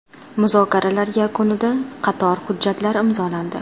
Muzokaralar yakunida qator hujjatlar imzolandi.